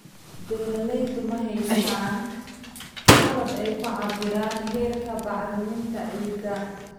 Beeraleydu ma haystaan ??qalab ay ku cabbiraan heerka bacriminta ciidda.